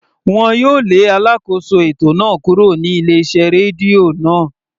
Wọn yóò lé alákóso ètò náà kúrò ní ilé iṣẹ́ rédíò náà.